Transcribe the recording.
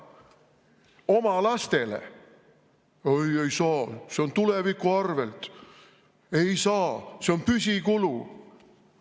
Oma lastele – oi, ei saa, see on tuleviku arvel, ei saa, see on püsikulu!